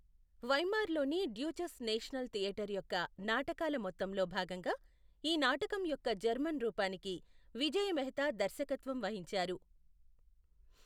వైమార్లోని Deutsches National Theater యొక్క నాటకాల మొత్తంలో భాగంగా, ఈ నాటకం యొక్క జర్మన్ రూపానికి విజయ మెహతా దర్శకత్వం వహించారు.